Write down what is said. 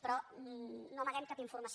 però no amaguem cap informació